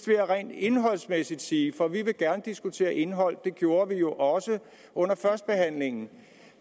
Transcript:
vil jeg rent indholdsmæssigt sige for vi vil gerne diskutere indhold det gjorde vi jo også under førstebehandlingen at